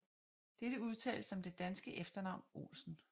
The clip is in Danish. Dette udtales som det danske efternavn Olsen